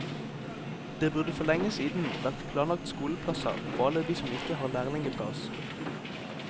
Det burde for lenge siden vært planlagt skoleplasser for alle de som ikke har lærlingeplass.